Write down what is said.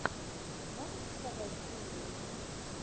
можешь показать феерию